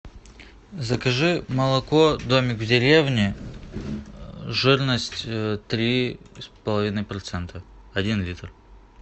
закажи молоко домик в деревне жирность три с половиной процента один литр